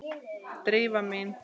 Drífa mín?